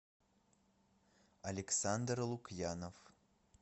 александр лукьянов